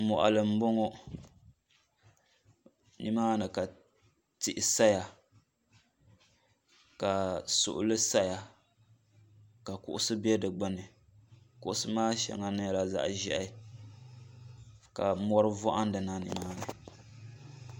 moɣali n bɔŋɔ ni maani ka tihi saya ka suɣuli saya ka kuɣusi bɛ di gbuni kuɣusi maa shɛŋa nyɛla zaɣi zɛhi ka mori vohindi na ni.